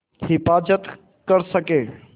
हिफ़ाज़त कर सकें